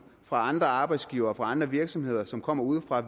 fra andre arbejdsgivere og fra andre virksomheder som kommer udefra